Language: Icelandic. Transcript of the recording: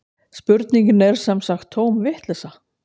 Spurningin er sem sagt tóm vitleysa